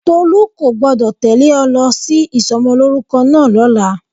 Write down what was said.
Tolu kò gbọ́dọ̀ tẹ́lẹ̀ ọ lọ sí ìsomolórúkọ náà lọ́la.